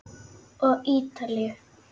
Og Ítalíu.